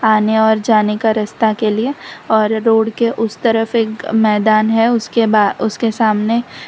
आने और जाने का रस्ता के लिए और रोड के उस तरफ एक मैदान है उसके बा उसके सामने --